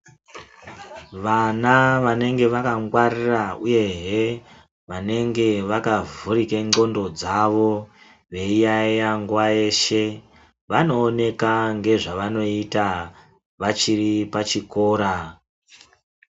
Vana vanenge vakangwarira uyehe vanenge vakavhurike ndxondo dzavo veiyayeya nguwa yeshe vanooneka ngezvavanoita vachiri pachikora.